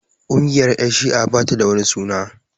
Ƙungiyar ƴan shi'a ba ta da wani suna